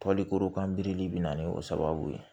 Palikorokan birili bɛ na ni o sababu ye